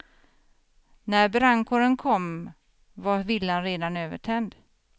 När brandkåren kom var villan redan övertänd.